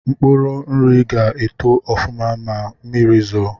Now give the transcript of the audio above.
Mkpuru nri ga-eto ọfụma ma mmiri zoo